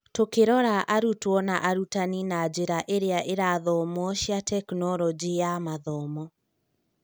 Tũkĩrora arutwo na arutani na njĩra iria irathomwo cia Tekinoronjĩ ya Mathomo